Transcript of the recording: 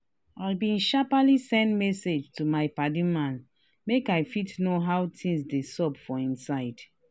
i been sharperly send message to my padi man make i fit know how things dey xup for him side.